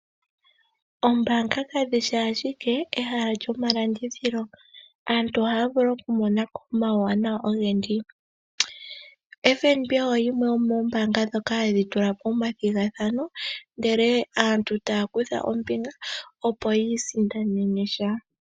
Ombaanga kadhishi ashike ehala lyomalandithilo. Aantu ohaya vulu okumona ko omauwanawa ogendji. FNB oyo yimwe yomoombanga ndhoka hadhi tulapo omathigathano, ndele aantu taya kutha ombinga opo yiisindanene sha.